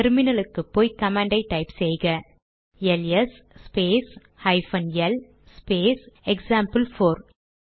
டெர்மினலுக்குப்போய் command type செய்க L S space hyphen L space example four